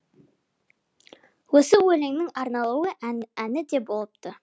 осы өлеңнің арнаулы әні де болыпты